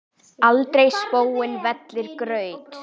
aldrei spóinn vellir graut.